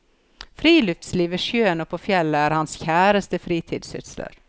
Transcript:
Friluftsliv ved sjøen og på fjellet er hans kjæreste fritidssysler.